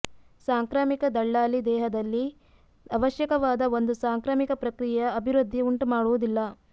ಸಾಂಕ್ರಾಮಿಕ ದಳ್ಳಾಲಿ ದೇಹದಲ್ಲಿ ಅವಶ್ಯಕವಾದ ಒಂದು ಸಾಂಕ್ರಾಮಿಕ ಪ್ರಕ್ರಿಯೆಯ ಅಭಿವೃದ್ಧಿ ಉಂಟುಮಾಡುವುದಿಲ್ಲ